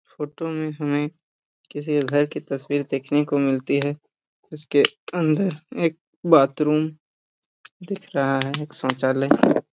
photo में हमें किसी घर की तस्वीर देखने को मिलती हैं इसके अंदर एक बाथरूम दिख रहा है एक शौचालय --